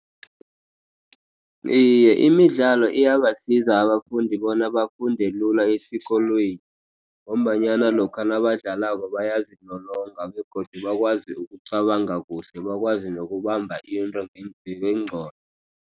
Iye, imidlalo iyabasiza abafundi bona bafunde lula esikolweni, ngombanyana lokha nabadlalako bayazilolonga, begodu bakwazi ukucabanga kuhle, bakwazi nokubamba into ngengqondo.